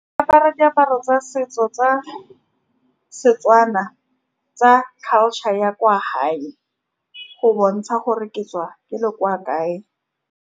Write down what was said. Diaparo tsa setso tsa Setswana, tsa culture ya kwa hae, go bontsha gore ke tswa ke le kwa kae.